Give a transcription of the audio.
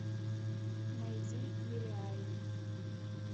найди нереально